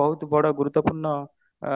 ବହୁତ ବଡ ଗୁରୁତ୍ଵପୂର୍ଣ ଅ